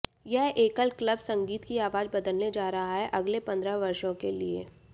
यह एकल क्लब संगीत की आवाज बदलने जा रहा है अगले पंद्रह वर्षों के लिए